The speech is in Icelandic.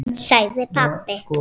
sagði pabbi.